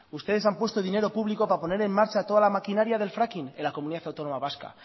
ustedes han puesto dinero público para poner en marcha toda la maquinaria del fracking en la comunidad autónoma vasca